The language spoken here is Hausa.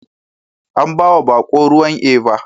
An bawa bako ruwan Eva